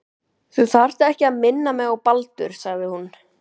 Þú þarft ekki að minna mig á Baldur sagði hún.